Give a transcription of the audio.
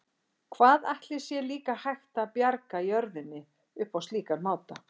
Hvað ætli sé líka hægt að bjarga jörðinni upp á slíkan máta?